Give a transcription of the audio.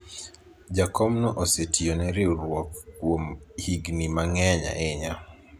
jakomno osetiyone riwruok kuom higni mang'eny ahinya